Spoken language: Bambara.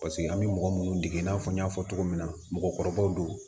Paseke an bɛ mɔgɔ minnu dege i n'a fɔ n y'a fɔ cogo min na mɔgɔkɔrɔbaw don